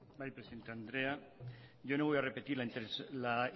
bai presidente andrea yo no voy a repetir la